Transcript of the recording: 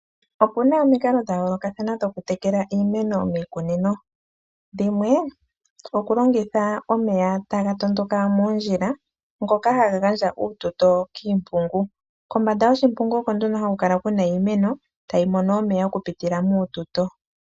Opuna omikalo dha yoolokathana dhoku tekela iimeno miikunino. Dhimwe, oku longitha omeya taga tondoka moondjila ngoka haga gandja uututo kiimpungu. Kombanda yoshimpungu oko nduno haku kala kuna iimeno, tayi mono omeya oku pitila muututo.